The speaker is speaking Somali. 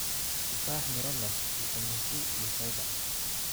Tufaax: Miro leh fiitamiin C iyo fiber.